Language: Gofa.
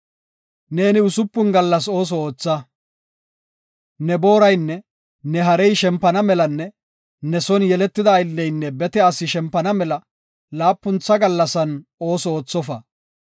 “Neeni usupun gallas ooso ootha. Ne booraynne ne harey shempana melanne ne son yeletida aylleynne bete asi shempana mela laapuntha gallasan ooso oothofa.